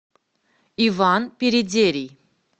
иван передерий